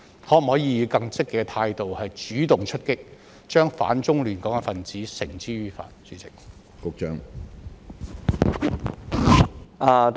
可否以更積極的態度主動出擊，將反中亂港分子繩之於法？